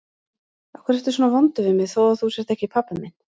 Af hverju ertu svona vondur við mig þó að þú sért ekki pabbi minn?